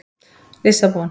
Lissabon